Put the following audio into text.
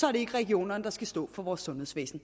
er det ikke regionerne der skal stå for vores sundhedsvæsen